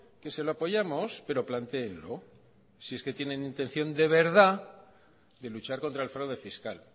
que se lo apoyamos pero plantéenlo si es que tienen intención de verdad de luchar contra el fraude fiscal